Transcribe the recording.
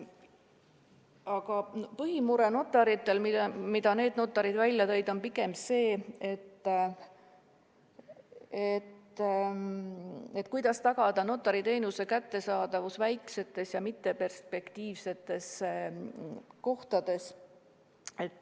Aga põhimure, mis need notarid välja tõid, on pigem see, kuidas tagada notariteenuse kättesaadavus väiksemates ja mitteperspektiivsetes kohtades.